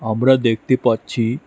আমরা দেখতে পাচ্ছি--